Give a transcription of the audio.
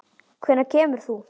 Hvenær kemur þú?